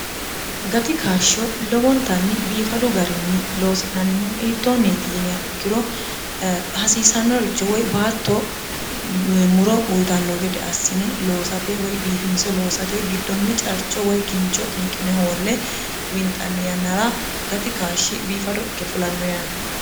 gati kaashsho lowontanni biifadu garinni loosi'nannihu iittoonniiti yinia ikkiro hasiisannoricho woy baatto muro uyitanno gede assine loosate woy biifinse loosate giddonni carcho woy kincho xinqine hoolle winxanni yannara gati kaashshi biifado ikke fulanno yaate